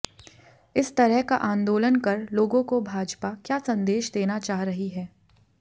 इस तरह का आंदोलन कर लोगों को भाजपा क्या संदेश देना चाह रही है